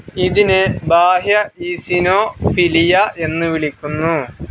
ഇതിനെ ബാഹ്യ ഈസിനോഫിലിയ എന്ന് വിളിക്കുന്നു.